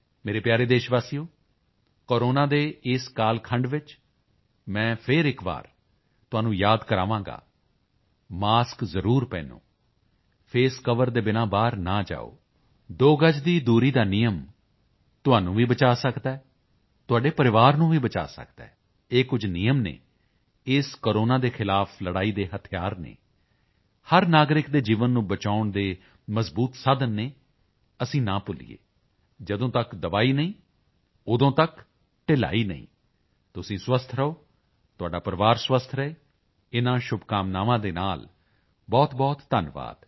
ਮੇਰੇ ਪਿਆਰੇ ਦੇਸ਼ਵਾਸੀਓ ਕੋਰੋਨਾ ਦੇ ਇਸ ਕਾਲਖੰਡ ਵਿੱਚ ਮਾਂ ਫਿਰ ਇੱਕ ਵਾਰ ਤੁਹਾਨੂੰ ਯਾਦ ਕਰਾਂਗਾ ਮਾਸਕ ਜ਼ਰੂਰ ਪਹਿਨੋ ਫੇਸ ਕਵਰ ਦੇ ਬਿਨਾਂ ਬਾਹਰ ਨਾ ਜਾਓ ਦੋ ਗਜ ਦੀ ਦੂਰੀ ਦਾ ਨਿਯਮ ਤੁਹਾਨੂੰ ਵੀ ਬਚਾਅ ਸਕਦਾ ਹੈ ਤੁਹਾਡੇ ਪਰਿਵਾਰ ਨੂੰ ਵੀ ਬਚਾਅ ਸਕਦਾ ਹੈ ਇਹ ਕੁਝ ਨਿਯਮ ਹਨ ਇਸ ਕੋਰੋਨਾ ਦੇ ਖ਼ਿਲਾਫ਼ ਲੜਾਈ ਦੇ ਹਥਿਆਰ ਹਨ ਹਰ ਨਾਗਰਿਕ ਦੇ ਜੀਵਨ ਨੂੰ ਬਚਾਉਣ ਦੇ ਮਜਬੂਤ ਸਾਧਨ ਹਨ ਅਤੇ ਅਸੀਂ ਨਾ ਭੁੱਲੀਏ ਜਦੋਂ ਤੱਕ ਦਵਾਈ ਨਹੀਂ ਉਦੋਂ ਤੱਕ ਢਿਲਾਈ ਨਹੀਂ ਤੁਸੀਂ ਸਵਸਥ ਰਹੋ ਤੁਹਾਡਾ ਪਰਿਵਾਰ ਸਵਸਥ ਰਹੇ ਇਨ੍ਹਾਂ ਸ਼ੁਭਕਾਮਨਾਵਾਂ ਦੇ ਨਾਲ ਬਹੁਤਬਹੁਤ ਧੰਨਵਾਦ